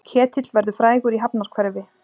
Ketill verður frægur í hafnarhverfi